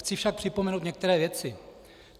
Chci však připomenout některé věci.